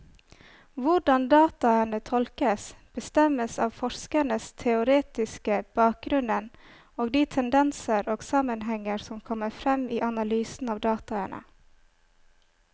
Hvordan dataene tolkes, bestemmes av forskerens teoretiske bakgrunnen og de tendenser og sammenhenger som kommer frem i analysen av dataene.